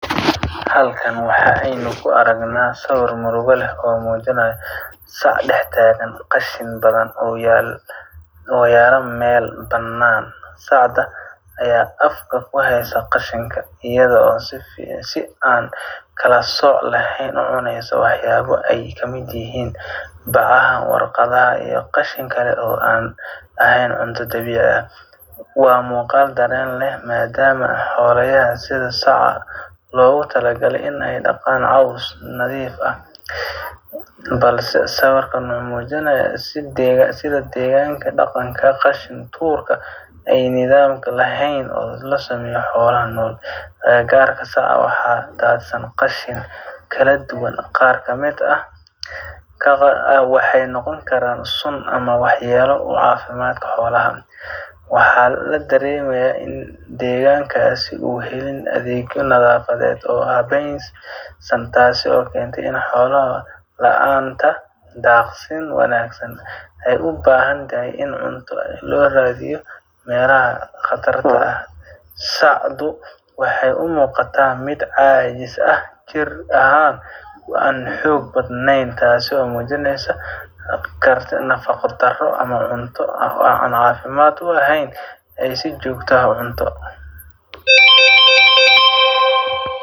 Halkan waxa aynu ku argna sawir murugo leeh oo muujinaya saac dextaagan qashin badhan oo yala meel banaan, sacda aya afka ku haysa qashinka iyadha oo si aan kala sooc laheyn u cuneysa waxyabo aay kamid yihiin bacaha, warqadhaha iyo qashin kale oo an ahayn cunto dawiici ah. waa muuqal daren leeh maadama xolayahas sidha saaca logu tala gale in aay laqaan cows nadhiif ah balse sawirkan mxuu muujinaya sidha deeganka daqanka qashin tuurka ay nidham laheyn. Agagarka sacaa waxa daadsan qashin kala duwaan qaar kamid ah waxay noqon karan suun ama wax yala oo caafimadka xolaha wax u keenayo, waxa la daremi kara in deegankas uu helin adhegyo nadhafadhedh, taaso kentee in xolaha laanta daaqsin wanagsan ee u baahantahy in cunto looraadhiyo meelaha qatarta aah, sacdu waxaay u muuqata mid caajis ah jir ahan oo an xoog badneyn taasi oo muujineysa karti, nafaqo daro ama cunto aan caafimad u a heyn ay si joogta ah u cunto.